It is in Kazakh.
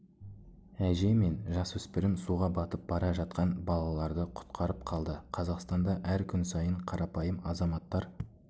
әже мен жасөспірім суға батып бара жатқан балаларды құтқарып қалды қазақстанда әр күн сайын қарапайым азаматтар